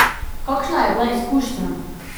Kakšna je bila izkušnja?